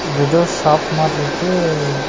இது எதோ ஷாப் மாறி இருக்கு.